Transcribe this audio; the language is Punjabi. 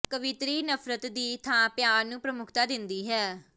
ਕਵਿਤਰੀ ਨਫ਼ਰਤ ਦੀ ਥਾਂ ਪਿਆਰ ਨੂੰ ਪ੍ਰਮੁਖਤਾ ਦਿੰਦੀ ਹੈ